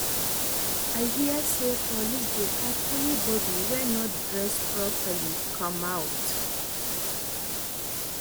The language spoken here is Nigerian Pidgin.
I hear say police dey catch anybody wey no dress properly come out